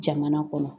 Jamana kɔnɔ